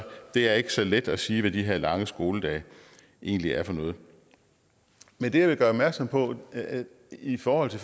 det er ikke så let at sige hvad de her lange skoledage egentlig er for noget men det jeg vil gøre opmærksom på i forhold